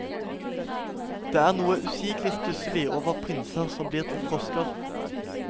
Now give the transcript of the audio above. Det er noe usigelig stusslig over prinser som blir til frosker.